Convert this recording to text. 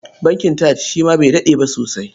Bankin TAJ shi ma bai daɗe ba sosai.